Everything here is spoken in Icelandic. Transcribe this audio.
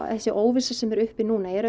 þessi óvissa sem er uppi núna er